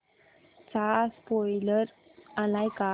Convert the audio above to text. चा स्पोईलर आलाय का